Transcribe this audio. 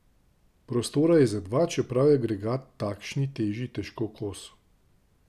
Prostora je za dva, čeprav je agregat takšni teži težko kos.